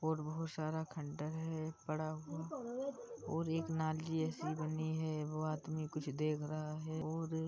औरबोहोत सारा खंडहर है पड़ा हुआ और नाली जैसी बनी है वो आदमी कुछ देख रहा है और --